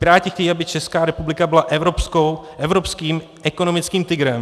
Piráti chtějí, aby Česká republika byla evropským ekonomickým tygrem.